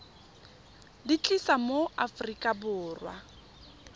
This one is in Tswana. di tlisa mo aforika borwa